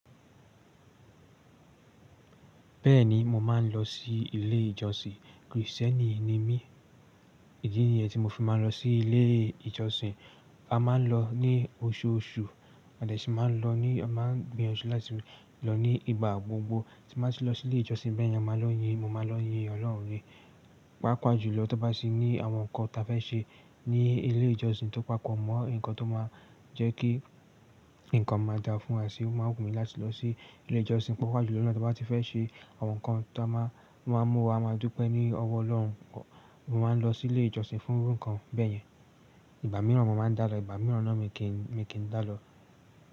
Bẹ́ẹ̀ni, mo máa ń lọ sí ilé ìjọsìn. Krìstẹ́nì ni mí. Ìdí nìyẹn tí mo fi máa ń lọ sí ilé ìjọsìn. A máa ń lọ ní oṣooṣù a dẹ̀ ṣì máa ń lọ ní, a máa ń gbìyànjú láti lọ ní ìgbà gbogbo. Tí n bá ti lọ sí ilé ìjọsìn bẹ́yẹn, a máa lọ ń yin, mo máa ń lọ yin Ọlọ́run ni Pàápàá jùlọ tí t'ọ́n bá ti ní àwọn nǹkan táa fẹ́ ṣe ní ilé ìjọsìn tó papọ̀ mọ́ nǹkan tó máa jẹ́ kí nǹkan máa dáa fún wa síi, ó máa ń wù mí láti lọ sí ilé ìjọsìn. Pàápàá jùlọ nígbà tí wọ́n bá ti fẹ́ ṣe àwọn nǹkan tó máa ń mú wa máa dúpẹ́ ní ọwọ́ Ọlọ́run, mo máa ń lọ sí ilé ìjọsìn fún irú nǹkan bẹ́yẹn. Ìgbà mìíràn mo máa ń dá lọ, ìgbà mìíràn náà mi kì í, mi kì í dá lọ.